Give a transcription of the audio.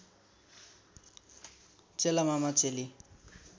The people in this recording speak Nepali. चेला मामा चेली